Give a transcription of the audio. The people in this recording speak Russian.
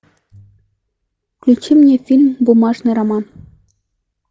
включи мне фильм бумажный роман